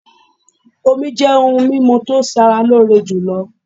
Omí jẹ́ òhún mímú tí o ṣé ara lóore jùlọ.